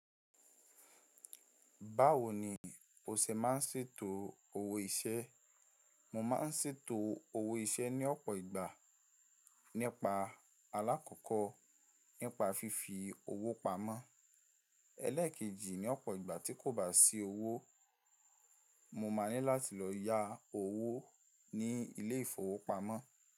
Báwo ni o ṣe máa ń ṣètò owó iṣẹ́? Mo máa ń ṣètò owó iṣẹ́ ní ọ̀pọ̀ ìgbà nípa alákọ̀kọ́ nípa fífi owó pamọ́. Élékèjì ní ọ̀pọ̀ ìgbà tí kò bá sí owó, mo máa ní láti lọ yá owó ní ilé ìfowópamọ́.